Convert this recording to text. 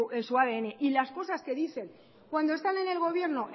en su adn las cosas que dicen cuando están en el gobierno